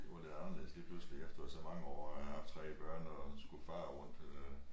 Det var lidt anderledes lige pludselig efter så mange år at have haft 3 børn og skulle fare rundt øh